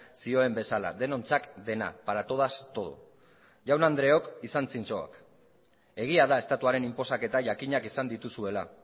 zion bezala denontzat dena para todas todo jaun andreok izan zintzo egia da estatuaren inposaketa jakinak izan dituzuela